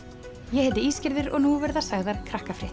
ég heiti Ísgerður og nú verða sagðar